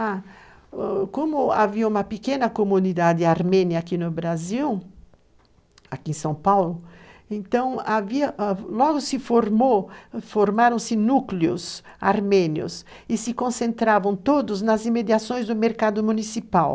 Ah, o como havia uma pequena comunidade armênia aqui no Brasil, aqui em São Paulo, então havia, ãh, logo se formou, formaram-se núcleos armênios e se concentravam todos nas imediações do mercado municipal.